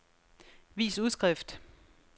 vis udskrift